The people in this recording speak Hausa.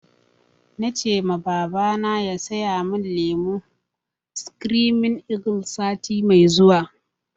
Na ce ma babana ya saya mun lemon screaming eagle sati mai zuwa